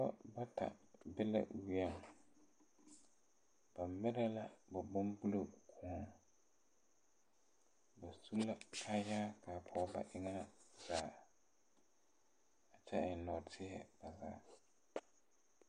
Nobɔ bata be la weɛŋ ba mire la ba bonbullo kõɔ ba su la kyaayaa a pɔg ba eŋɛ zaa kyɛ eŋ nɔɔteɛ ba zaa.